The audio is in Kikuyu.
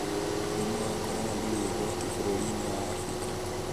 Mũrimũ wa Corona ndũrĩ ũgwati bũrũriinĩ wa Afrika